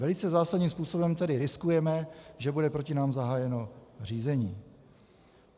Velice zásadním způsobem tedy riskujeme, že bude proti nám zahájeno řízení.